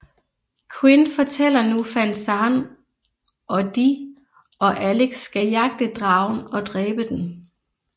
Quinn fortæller nu Van Zan og de og Alex skal jagte dragen og dræbe den